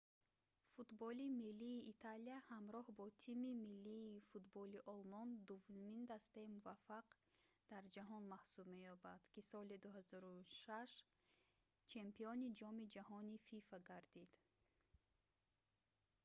футболи миллии италия ҳамроҳ бо тими миллии футболи олмон дуввумин дастаи муваффақ дар ҷаҳон маҳсуб меёбад ки соли 2006 чемпиони ҷоми ҷаҳонии фифа гардид